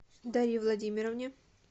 дарье владимировне